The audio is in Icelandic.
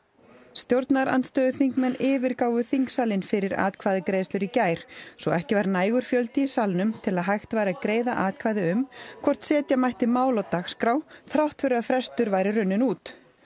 stjórnarandstöðuþingmenn yfirgáfu þingsalinn fyrir atkvæðagreiðslur í gær svo ekki var nægur fjöldi í salnum til að hægt væri að greiða atkvæði um hvort setja mætti mál á dagskrá þrátt fyrir að frestur væri runninn út